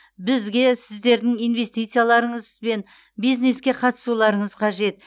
бізге сіздердің инвестицияларыңыз бен бизнеске қатысуларыңыз қажет